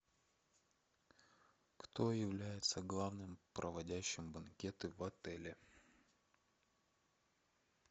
кто является главным проводящим банкеты в отеле